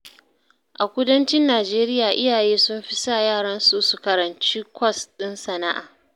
A kudancin Nijeriya, iyaye sun fi sa yaransu su karanci kwas ɗin sana'a.